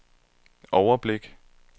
overblik